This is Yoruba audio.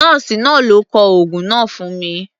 Nọ́ọ̀sì náà ló kọ oògun náà fún un.